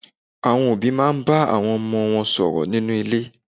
Àwọn òbí máa n bá àwọn ọmọ wọn sọ̀rọ̀ nínú ilé